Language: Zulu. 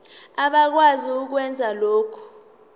abakwazi ukwenza lokhu